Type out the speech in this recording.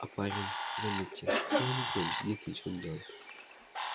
а парень заметьте целыми днями сидит и ничего не делает